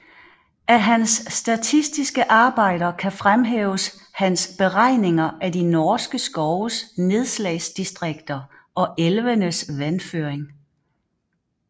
Af hans statistiske Arbejder kan fremhæves hans Beregninger af de norske Skoves Nedslagsdistrikter og Elvenes Vandføring